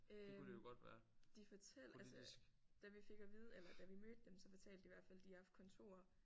Øh de fortæl altså da vi fik at vide eller da vi mødte dem så fortalte de i hvert fald de har haft kontorer